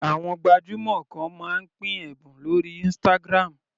Àwọn gbajúmọ̀ kan máa ń pín ẹ̀bùn lórí Instagram.